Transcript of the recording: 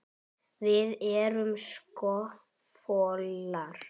Við erum sko folar.